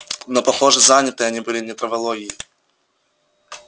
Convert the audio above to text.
но похоже заняты они были не травологией